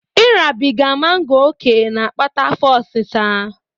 Ịrabiga mango ókè na-akpata afọ osịsa